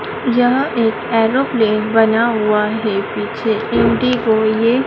यहां एक एरोप्लेन बना हुआ है पीछे इंडिगो ये --